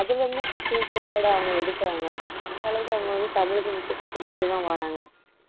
அதுல இருந்து questions அவங்க எடுக்குறாங்க அந்த அளவுக்கு அவங்க வந்து தமிழ்க்கு முக்கியத்துவம் குடுத்துட்டேதான் வர்றாங்க